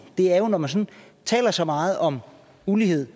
når man sådan taler så meget om ulighed